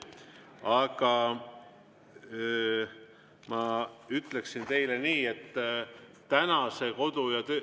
Aga ma ütleksin teile nii, et tänase kodu‑ ja …